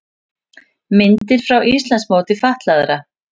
Myndir frá Íslandsmóti fatlaðra